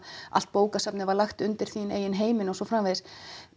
allt bókasafnið var lagt undir þín eigin heiminn og svo framvegis